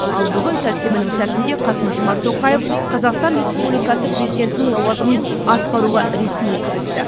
ал бүгін сәрсенбінің сәтінде қасым жомарт тоқаев қазақстан республикасы президентінің лауазымын атқаруға ресми кірісті